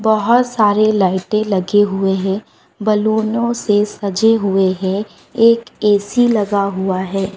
बहुत सारे लाइटें लगे हुए है बैलूनों से सजे हुए है एक ऐ_सी लगा हुआ है।